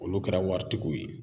Olu kɛra waritigiw ye